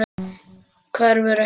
Hverfur ekki.